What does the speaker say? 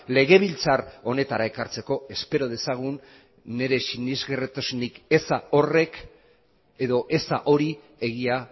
legebiltzar honetara ekartzeko espero dezagun nire sinesgarritasunik eza horrek edo eza hori egia